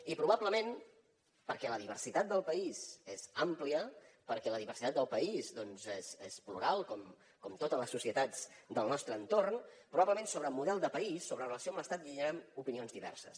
i probablement perquè la diversitat del país és àmplia perquè la diversitat del país és plural com totes les societats del nostre entorn probablement sobre model de país sobre relació amb l’estat hi hauran opinions diverses